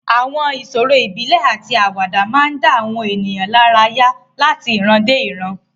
Àwọn ìṣòro ìbílẹ̀ àti àwàdà máa ń dá àwọn ènìyàn lára láti ìran dé ìran.